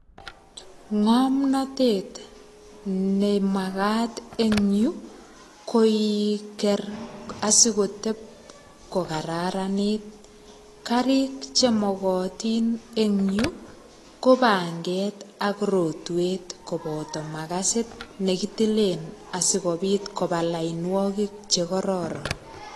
Ngomnatet nemagat eng yu koiker asigotep kokararanit. Karik chemogotin eng yu ko panget ak rotwet koboto magasit nekitilen asigopit koba lainwogik che kororon.